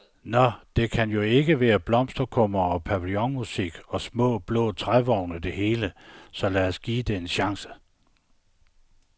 Nå, det kan jo ikke være blomsterkummer og pavillonmusik og små, blå trævogne det hele, så lad os give det en chance.